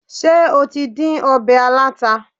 Ṣé o tí dín ọbẹ̀ aláta?